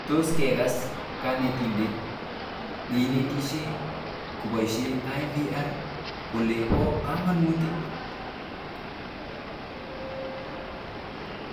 Tos kekas kanetindet neinetishe kopishe IVR kolen po kamanut?